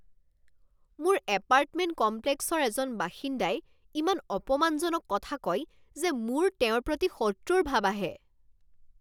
মোৰ এপাৰ্টমেণ্ট কমপ্লেক্সৰ এজন বাসিন্দাই ইমান অপমানজনক কথা কয় যে মোৰ তেওঁৰ প্ৰতি শত্ৰুৰ ভাব আহে।